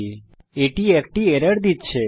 তাই এটি একটি এরর দিচ্ছে